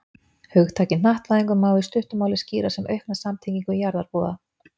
Hugtakið hnattvæðingu má í stuttu máli skýra sem aukna samtengingu jarðarbúa.